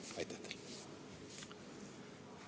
Aitäh teile!